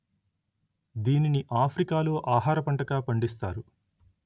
దీనిని ఆఫ్రికా లో ఆహార పంటగా పండిస్తారు